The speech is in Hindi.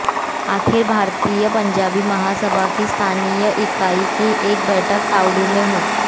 अखिल भारतीय पंजाबी महासभा की स्थानीय इकाई की एक बैठक तावड़ू में हुई